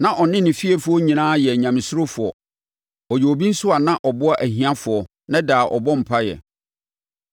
Na ɔne ne efiefoɔ nyinaa yɛ Nyamesurofoɔ. Ɔyɛ obi nso a na ɔboa ahiafoɔ na daa ɔbɔ mpaeɛ.